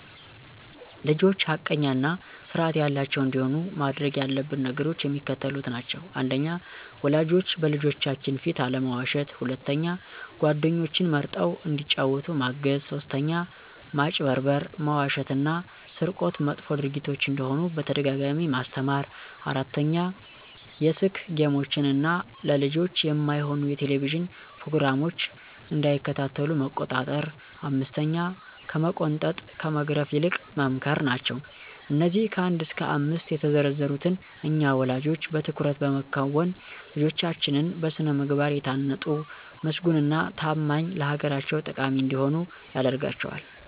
ልጆች ሐቀኛ እና ስርአት ያላቸዉ እንዲሆኑ ማድረግ ያለብን ነገሮች የሚከተሉት ናቸዉ። 1. ወላጆች በልጆቻችን ፊት አለመዋሸት 2. ጓደኞችን መርጠዉ እንዲጫወቱ ማገዝ 3. ማጭበርበር፣ መዋሸት እና ስርቆት መጥፎ ድርጊቶች እንደሆኑ በተደጋጋሚ ማስተማር 4. የስክ ጌሞችን እና ለልጆች የማይሆኑ የቴሌቭዥን ፕሮግራሞች እንዳይከታተሉ መቆጣጠር 5ከመቆንጠጥ ከመግረፍ ይልቅ መምከር ናቸዉ። አነዚህ ከ1 እስከ 5 የተዘረዘሩትን እኛ ወለጆች በትኩረት በመከወን ልጆቻችን በስነ ምግባር የታነጡ ምስጉን እና ታማኝ ለአገራቸው ጠቃሚ እንዲሆኑ ያደርጋቸዋል።